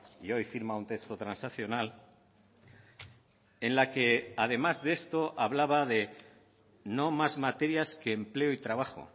y hoy firma un texto transaccional en la que además de esto hablaba de no más materias que empleo y trabajo